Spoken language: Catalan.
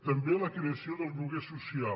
també la creació del lloguer social